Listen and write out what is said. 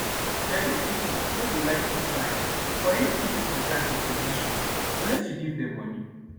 deir young pipo nor dey like put mind for anything wey concern to produce food unless u give dem moni